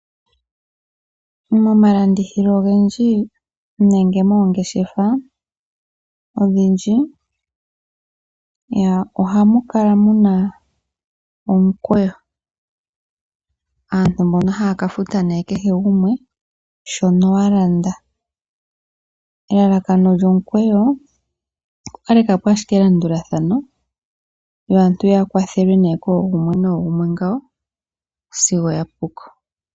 Mo malandithilo ogendji nenge moongeshefa odhindji ohamu kala muna omukweyo. Aantu mbono haya ka futa kehe gumwe shono wa landa. Elalakano lyo mukweyo oku kaleka po ashike elandulathano yo aantu ya kwathelwe nee koogumwe noogumwe ngawo sigo ya puko.